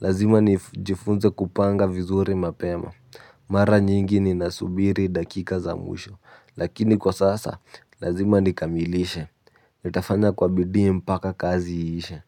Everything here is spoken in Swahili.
lazima nijifunze kupanga vizuri mapema. Mara nyingi ninasubiri dakika za mwisho. Lakini kwa sasa lazima nikamilishe. Nitafanya kwa bidi mpaka kazi iishe.